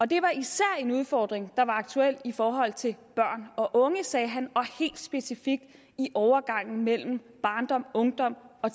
det var især en udfordring der var aktuel i forhold til børn og unge sagde han og helt specifikt i overgangen mellem barndomungdom og